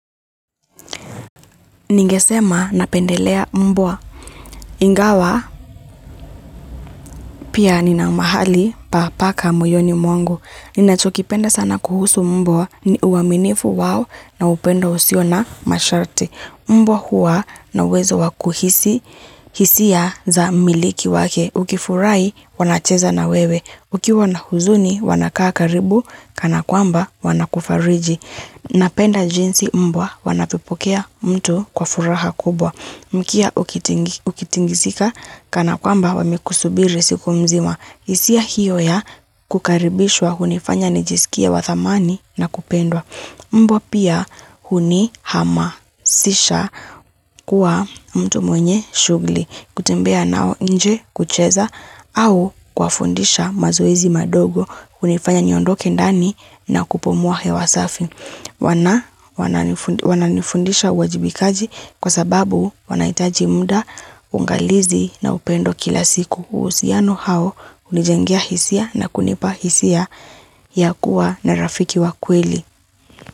Ningesema napendelea mbwa. Ingawa pia nina mahali pa paka moyoni mwangu. Ninachokipenda sana kuhusu mbwa ni uaminifu wao na upendo usiona masharti. Mbwa huwa na uwezo wakuhisi hisia za mmiliki wake. Ukifurahi wanacheza na wewe. Ukiwa na huzuni wanakakaribu kana kwamba wanakufariji. Napenda jinsi mbwa wanavyopokea mtu kwa furaha kubwa. Mkia ukitingizika kana kwamba wamekusubiri siku mzima. Hisia hiyo ya kukaribishwa hunifanya nijisikie wa thamani na kupendwa. Mbwa pia huni hama sisha kuwa mtu mwenye shuguli. Kutembea nao nje kucheza au kuwa fundisha mazoezi madogo hunifanya niondoke ndani na kupumua hewa safi. Wana nifundisha uwajibikaji kwa sababu wanahitaji mda ungalizi na upendo kila siku uusiano hao unijengea hisia na kunipa hisia ya kuwa na rafiki wa kweli.